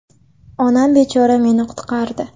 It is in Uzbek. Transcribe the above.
Onam bechora meni qutqardi.